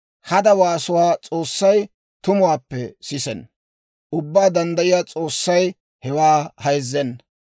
Hada waasuwaa S'oossay tumuwaappe sisenna; Ubbaa Danddayiyaa S'oossay hewaa hayzzenna.